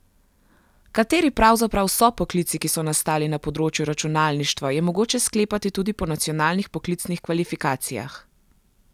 Kateri pravzaprav so poklici, ki so nastali na področju računalništva, je mogoče sklepati tudi po nacionalnih poklicnih kvalifikacijah.